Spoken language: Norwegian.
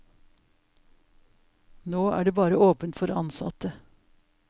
Nå er det bare åpent for ansatte.